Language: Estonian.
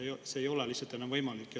See ei ole lihtsalt enam võimalik.